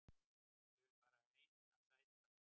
Ég vel bara eina sæta